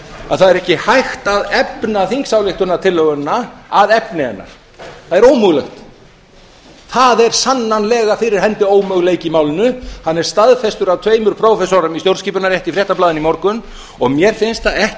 að það er ekki hægt að efna þingsályktunartillöguna að efni hennar það er ómögulegt þar er sannanlega fyrir hendi ómöguleiki í málinu hann er staðfestur af tveimur prófessorum í stjórnskipunarrétti í fréttablaðinu í morgun og mér finnst það ekki